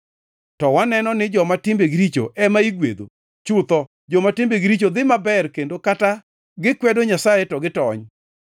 To waneno ni joma timbegi richo ema igwedho. Chutho joma timbegi richo dhi maber kendo kata gikwedo Nyasaye to gitony.’ ”